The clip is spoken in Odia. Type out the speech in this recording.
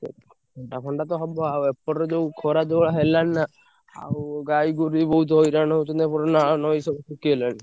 ଥଣ୍ଡା ଫଣ୍ଡା ତ ହବ ଆଉ ଏପଟରେ ଯୋଉ ଖରା ଯୋଉଭଳିଆ ହେଲାଣି ନା। ଆଉ ଗାଈଗୋରୁ ବି ବହୁତ୍ ହଇରାଣ ହଉଛନ୍ତି। ଏପଟରେ ନାଳ, ନଈ ସବୁ ଶୁଖିଗଲାଣି।